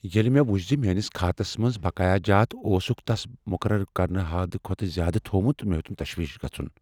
ییٚلہ مےٚ وچھ ز میانِس كھاتس منز بقایہِ جات اوسُكھ تَس مُقرر کرنہٕ حد كھوتہٕ زیادٕ تھومُت، مے٘ ہیوتُن تشویش گژُھن ۔